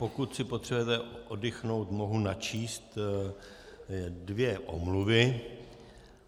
Pokud si potřebujete oddychnout, mohu načíst dvě omluvy.